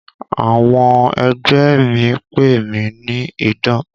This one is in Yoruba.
Àwọn ẹgbẹ́ mi pè mí ní 'Idán'.